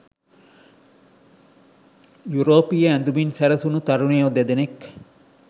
යුරෝපීය ඇඳුමින් සැරසුණු තරුණයෝ දෙදෙනෙක්